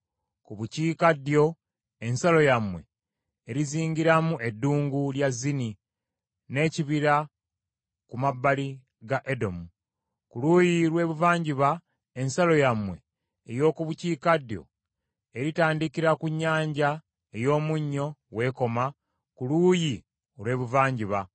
“ ‘Ku bukiikaddyo, ensalo yammwe erizingiramu Eddungu lya Zini n’ekibira ku mabbali ga Edomu. Ku luuyi lw’ebuvanjuba, ensalo yammwe ey’oku bukiikaddyo eritandikira ku Nnyanja ey’Omunnyo w’ekoma ku luuyi olw’ebuvanjuba,